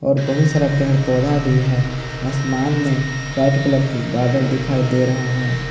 और बहुत सारा पेड़ पौधा भी है आसमान में वाइट कलर के बादल दिखाई दे रहा है।